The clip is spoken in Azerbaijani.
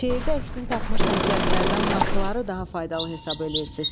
Şeirdə əksini tapmış nəsihətlərdən hansıları daha faydalı hesab eləyirsiz?